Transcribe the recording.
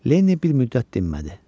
Lenni bir müddət dinmədi.